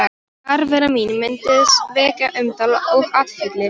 Fjarvera mín mundi vekja umtal og athygli.